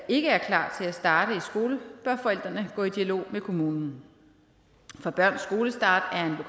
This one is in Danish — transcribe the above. ikke er klar til at starte i skole bør forældrene gå i dialog med kommunen for børns skolestart er